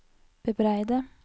bebreide